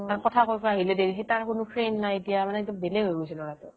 "কথা কৈ কৈ আহিলে দেৰি তাৰ এতিয়া friend নাই মানে বেলেগ হৈ গৈছে ল""ৰাটো"